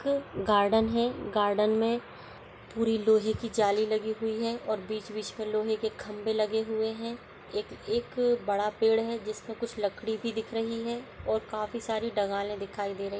एक गार्डन है। गार्डन में पूरी लोहे की जाली लगी हुई है और बीच-बीच में लोहे के खंभे लगे हुए हैं। एक एक बड़ा पेड़ है जिसमें कुछ लकड़ी भी दिख रही है और काफी सारी डगालें दिखाई दे रही --